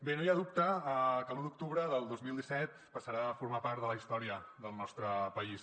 bé no hi ha dubte que l’u d’octubre del dos mil disset passarà a formar part de la història del nostre país